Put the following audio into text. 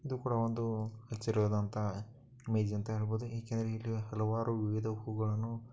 ಅದು ಕೂಡ ಒಂದು ಹಲವಾರು ಇದು--